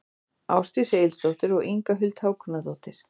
Ásdís Egilsdóttir og Inga Huld Hákonardóttir.